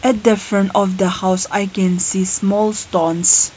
At the front of the house I can see small stones.